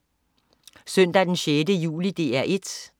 Søndag den 6. juli - DR 1: